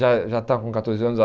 Já já está com catorze anos.